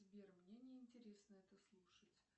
сбер мне не интересно это слушать